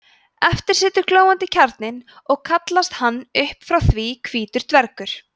eftir situr glóandi kjarninn og kallast hann upp frá því hvítur dvergur